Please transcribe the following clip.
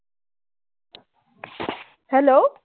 hello